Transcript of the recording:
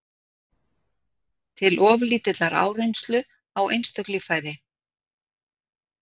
til of lítillar áreynslu á einstök líffæri.